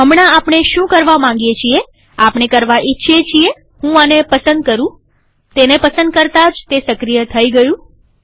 હમણાં આપણે શું કરવા માગીએ છીએઆપણે કરવા ઇચ્છીએ છીએહું આને પસંદ કરુંતેને પસંદ કરતા જ તે સક્રિય થઇ ગયું